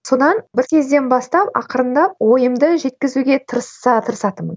содан бір кезден бастап ақырындап ойымды жеткізуге тырысатынмын